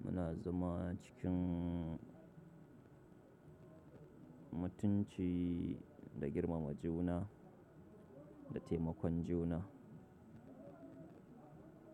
Muna zama cikin mutunci da girmama juna da taimakon juna.